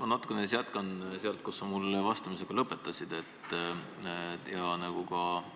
Ma natukene jätkan sealt, kus sa mulle ja ka